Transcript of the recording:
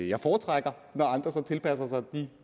jeg foretrækker med andre som tilpasser sig de